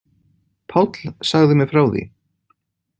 Páll sagði mér frá því.